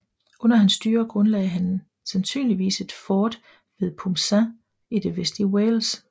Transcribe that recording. Under hans styre grundlagde han sandsynligvis et fort ved Pumsaint i det vestlige Wales